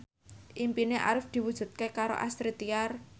impine Arif diwujudke karo Astrid Tiar